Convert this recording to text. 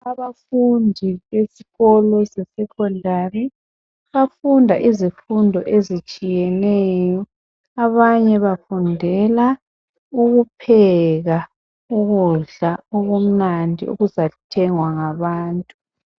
Abafundi bezikolo ze Secondary bafunda izifundo ezitshiyeneyo Abanye bafundela ukupheka ukudla okumnandi okuzathengwa ngabantu